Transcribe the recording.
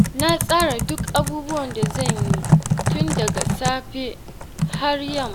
Na tsara duk abubuwan da zan yi tun daga safiya har yamma.